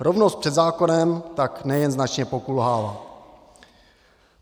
Rovnost před zákonem tak nejen značně pokulhává.